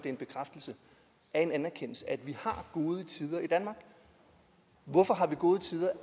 en bekræftelse af en anerkendelse at vi har gode tider i danmark hvorfor har vi gode tider